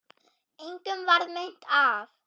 Engum varð meint af.